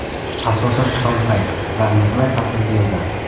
Asosan tong payti va mehnat ta’tilida yozardi.